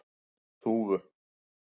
Þúfu